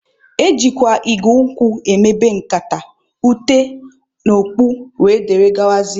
Ejikwa igu nkwụ emebe nkata, ute, okpu wdg